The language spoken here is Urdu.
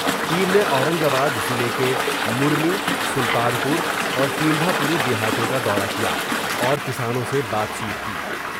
ٹیم نے اورنگ آباد ضلع کے مری سلطان پور اورٹیمھا پوری دیہاتوں کا دورہ کیا اور کسانوں سے بات چیت کی۔